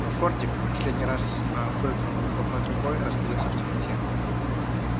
но фордик последний раз фыркнув выхлопной трубой растворился в темноте